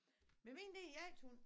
Men min det er en jagthund